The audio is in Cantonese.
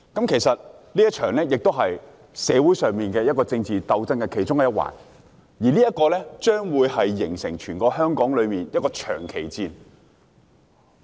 其實，這也是社會上政治鬥爭的其中一環，而且，將會成為全香港一場長期戰爭。